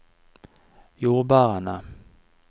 jordbærene